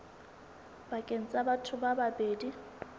pakeng tsa batho ba babedi